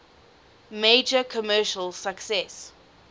major commercial success